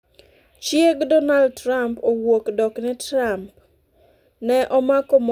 Chieg Donald Trump owuok dok ne Trump 'ne omako mon ahinya'